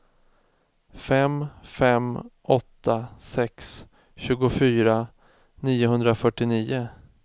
fem fem åtta sex tjugofyra niohundrafyrtionio